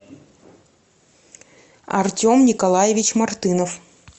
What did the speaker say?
артем николаевич мартынов